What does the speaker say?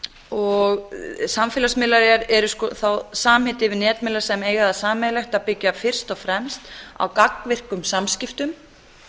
nýta sér samfélagsmiðla samfélagsmiðlar eru þá samheiti yfir netmiðla sem eiga það sameiginlegt að byggja fyrst og fremst á gagnvirkum samskiptum